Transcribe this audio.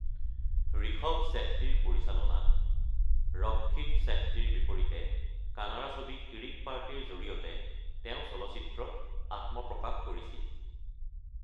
ঋষভ শ্বেট্টীৰ পৰিচালনাত ৰক্ষিত শ্বেট্টীৰ বিপৰীতে কানাড়া ছবি কিৰিক পাৰ্টি-ৰ জৰিয়তে তেওঁঁ চলচ্চিত্ৰত আত্মপ্ৰকাশ কৰিছিল।